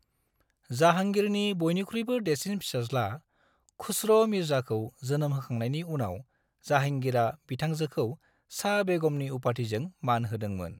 जाहांगीरनि बयनिख्रुयबो देरसिन फिसाज्ला खुस्र' मिर्जाखौ जोनोम होखांनायनि उनाव जाहांगीरा बिथांजोखौ शाह बेगमनि उपाधिजों मान होदोंमोन।